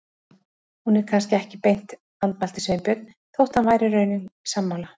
Hún er kannski ekki beint. andmælti Sveinbjörn, þótt hann væri í raun sammála.